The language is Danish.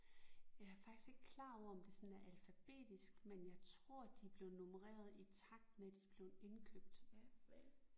Jeg er faktisk ikke klar over om det sådan er alfabetisk men jeg tror de blev nummeret i takt med de er blevet indkøbt